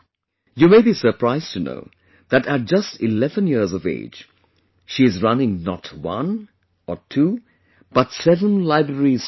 You may be surprised to know that at just 11 years of age, she is running not one or two, but seven libraries for children